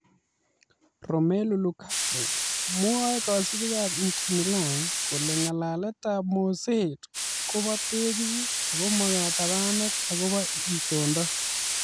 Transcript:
Romelu Lukaku: Mwaei kosubiikab Inter Milan kole ng'alaletab moseet ko bo 'tegis ' ago ma 'katabanet akobo itondo '